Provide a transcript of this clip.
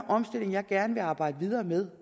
omstilling jeg gerne vil arbejde videre med